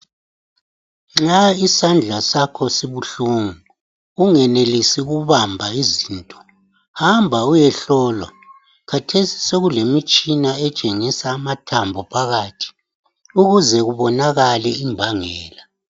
Nxa isandla sakho sibuhlungu, ungenelisi ukubamba izinto hamba uyehlolwa khathesi sokulemitshina etshengisa amathambo phakathi ukuze kubonakale imbangela.